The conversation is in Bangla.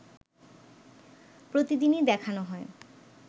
প্রতিদিনই দেখানো হয়